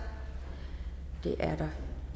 det er der